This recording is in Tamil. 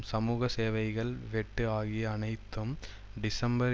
சமூக சேவைகள் வெட்டு ஆகிய அனைத்தும் டிசம்பர்